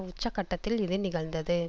உச்ச கட்டத்தில் இது நிகழ்ந்தது